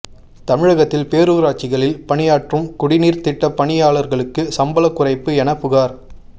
தமிழகத்தில் பேரூராட்சிகளில் பணியாற்றும் குடிநீர் திட்ட பணியாளர்களுக்கு சம்பளம் குறைப்பு எனப் புகார்